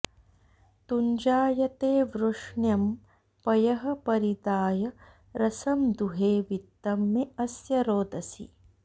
तुञ्जाते वृष्ण्यं पयः परिदाय रसं दुहे वित्तं मे अस्य रोदसी